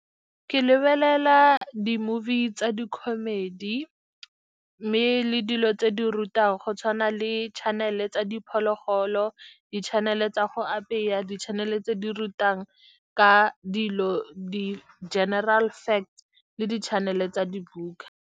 Ke lebelela di-movie tsa di-comedy, mme le dilo tse di rutang, go tshwana le channel-e tsa diphologolo, di-channel-e tsa go apeya, di-channel-e tse di rutang ka dilo, di-general fact, le di-channel-e tsa dibuka.